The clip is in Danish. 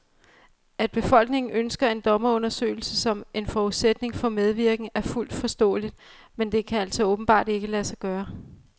At befolkningen ønsker en dommerundersøgelse som en forudsætning for medvirken, er fuldt forståeligt, men det kan altså åbenbart ikke lade sig gøre.